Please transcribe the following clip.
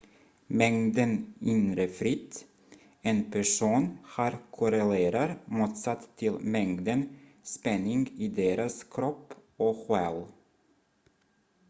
mängden inre frid en person har korrelerar motsatt till mängden spänning i deras kropp och själ